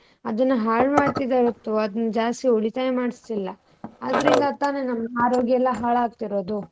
ಅದುನ್ನ ಹಾಳ್ ಮಾಡತಿದವಿ ಹೊರತು ಅದ್ನ ಜಾಸ್ತಿ ಉಳಿತಾಯ ಮಾಡಸಲಿಲ್ಲ. ಅದರಿಂದ ತಾನೆ ನಮ್ಮ ಆರೋಗ್ಯ ಎಲ್ಲ ಹಾಳಾಗ್ತಿರೋದು.